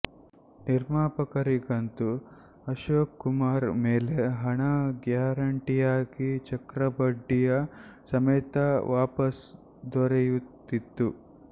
ನಿರ್ಮಾಪರಿಗಂತೂ ಅಶೋಕ್ ಕುಮಾರ್ ಮೇಲೆ ಹಣ ಗ್ಯಾರಂಟಿಯಾಗಿ ಚಕ್ರಬಡ್ಡಿಯ ಸಮೇತ ವಾಪಸ್ ದೊರೆಯುತ್ತಿತ್ತು